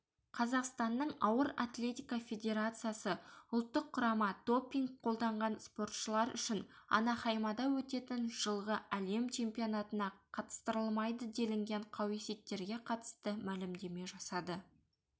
қазақстанның ауыр атлетика федерациясы ұлттық құрама допинг қолданған спортшылар үшін анахаймада өтетін жылғы әлем чемпионатына қатыстырылмайды делінген қауесеттерге қатысты мәлімдеме жасады